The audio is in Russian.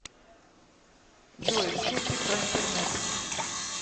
джой шутки про интернет